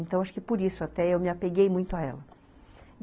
Então, acho que por isso até eu me apeguei muito a ela.